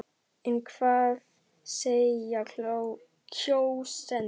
En hvað segja kjósendur?